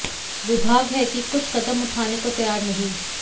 विभाग है कि कुछ कदम उठाने को तैयार नहीं